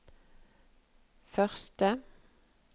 første